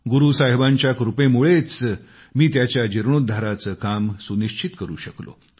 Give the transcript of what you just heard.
गुरू साहिबांच्या कृपेमुळेच मी त्याच्या जीर्णोद्धाराचे काम सुनिश्चित करू शकलो